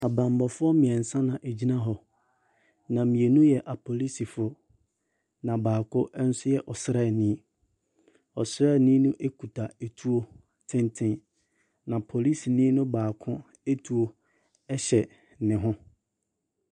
Abanbɔfoɔ mmiɛnsa na egyina hɔ. Na mmienu yɛ apolisifo. Na baako ɛnso yɛ ɔsrane. Ɔsrane no ekita etuo tenten. Na polisini baako etuo ɛhyɛ ne ho.